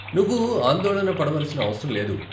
నువ్వు ఆందోళన పడవలసిన అవసరం లేదు.